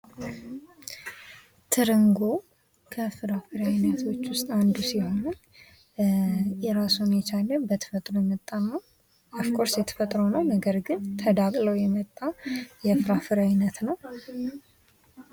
ትርንጎ ከፍራፍሬ አይነቶች ዉስጥ አንዱ ሲሆን ራሱን የቻለ በተፈጥሮ የመጣ የተፈጥሮ ነው ግን ተዳቅሎ የመጣ የፍራፍሬ አይነት ነው።